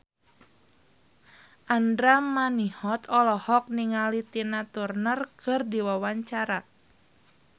Andra Manihot olohok ningali Tina Turner keur diwawancara